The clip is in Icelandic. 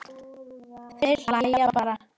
Þeir hlæja bara.